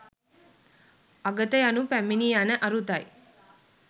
අගත යනු පැමිණි යන අරුතයි